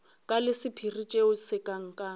ka la sephiri tšea setlankana